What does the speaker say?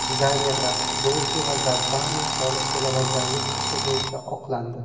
Dizaynerlar Dolche va Gabbana soliq to‘lamaganlik ishi bo‘yicha oqlandi.